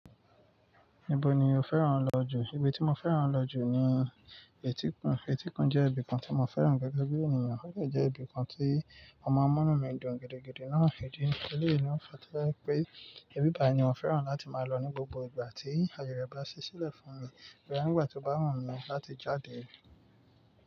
Níbo ni o fẹ́ràn lọ jù? Ibi tí mo fẹ́ràn lọ jù ni etíkun. Etíkun jẹ́ ibi kan tí mo fẹ́ràn gẹ́gẹ́ bí ènìyàn, ṣùgbọ́n jẹ́ ibi kan tí ó máa ń múnú mi dùn gidi, gidi náà. Èdè ìṣẹ̀lẹ̀ yìí ń fa tí láì pé, ibi báyìí ni mo fẹ́ràn láti máa lọ ní gbogbo ìgbà tí ayọ̀ rẹ̀ bá ṣẹ́ ṣílẹ̀ fún mi. Rárá, ngbà tí ó bá wù mí láti jáde.